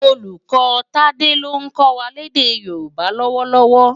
Ólúkò Tade ló nkò wá lèdè Yoruba lòwòlòwò